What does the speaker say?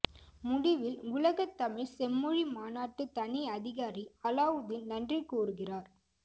முடிவில் உலகத்தமிழ் செம்மொழி மாநாட்டு தனி அதிகாரி அலாவுதீன் நன்றி கூறுகிறார்